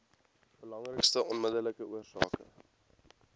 belangrikste onmiddellike oorsake